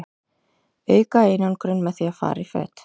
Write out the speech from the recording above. auka einangrun með því að fara í föt